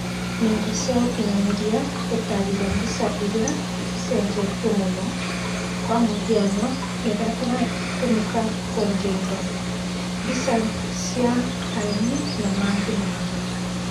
Nenda cia ũkinyanĩria gũtariria mbica iria cicenjetio muno -kwa mũhiano iria iratũmika kwendia indo, mbica cia aini na mangĩ maingĩ